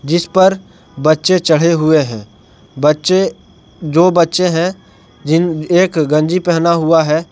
जिस पर बच्चे चढ़े हुए हैं बच्चे जो बच्चे हैं जिन एक गंजी पहना हुआ है।